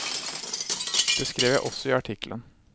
Det skrev jeg også i artikkelen.